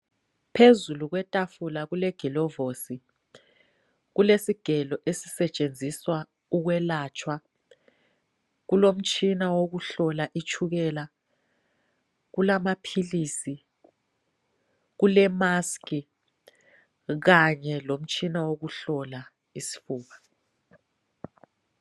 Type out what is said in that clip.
Phezulu kwetafula kulegilovisi, kukesigelo esisetshenziswa ukwelapha, kulomtshina wokuhlola itshukela kulamaphilisi kule mask Kanye lomtshina wokuhlola isifuba.